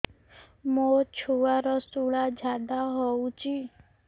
ମୋ ଛୁଆର ସୁଳା ଝାଡ଼ା ହଉଚି